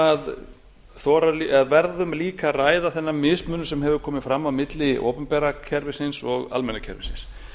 að þora verðum líka að ræða þennan mismun sem hefur komið fram á milli opinbera kerfisins og almenna kerfisins